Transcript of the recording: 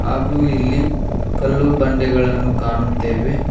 ಹಾಗು ಇಲ್ಲಿ ಕಲ್ಲು ಬಂಡೆಗಳನ್ನು ಕಾಣುತ್ತೇವೆ.